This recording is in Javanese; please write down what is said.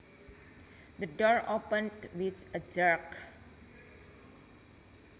The door opened with a jerk